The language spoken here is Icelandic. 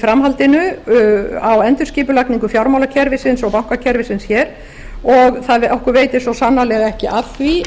framhaldinu á endurskipulagningu fjármálakerfisins og bankakerfisins hér og okkur veitir svo sannarlega ekki af því